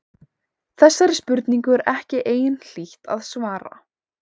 Þessari spurningu er ekki einhlítt að svara.